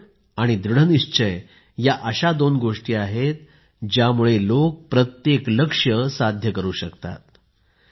आवड आणि दृढ़निश्चय या अशा दोन गोष्टी आहेत ज्यामुळे लोक प्रत्येक लक्ष्य साध्य करू शकतात